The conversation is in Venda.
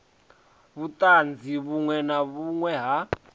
vhuṱanzu vhuṅwe na vhuṅwe ha